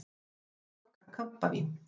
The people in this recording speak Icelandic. Þetta var okkar kampavín!